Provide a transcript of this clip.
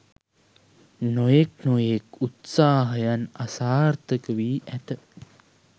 නොයෙක් නොයෙක් උත්සාහයන් අසාර්ථක වී ඇත